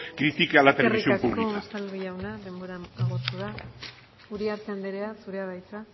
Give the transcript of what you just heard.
critique a la televisión pública eskerrik asko unzalu jauna denbora agortu da uriarte anderea zurea da hitza